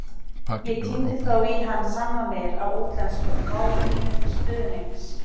Ég tíndi þó í hann sannanir á útlensku, máli mínu til stuðnings.